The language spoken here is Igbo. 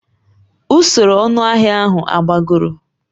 Usoro ọnụahịa ahụ agbagoro?